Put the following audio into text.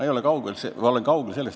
Ma olen kaugel sellest ...